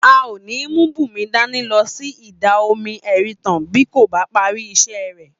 A ò ní mú Bùnmi dání lo̩ sí Ìdà-omi E̩rinta bí kò bá parí is̩é̩ rè̩